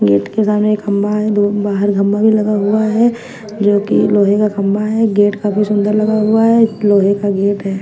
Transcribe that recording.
Gate के सामने एक खम्बा है दो बाहर खम्बा भी लगा हुआ है जोकि लोहे का खम्बा है गेट काफी सुंदर लगा हुआ है लोहे का गेट है।